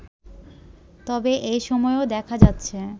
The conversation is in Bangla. তবে এসময়েও দেখা যাচ্ছে